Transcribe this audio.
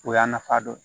O y'a nafa dɔ ye